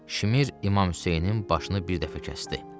Şimir İmam Hüseynin başını bir dəfə kəsdi.